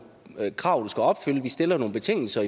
krav du skal opfylde vi stiller nogle betingelser